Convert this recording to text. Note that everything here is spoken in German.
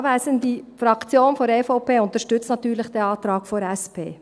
Die EVP-Fraktion unterstützt natürlich den Antrag der SP.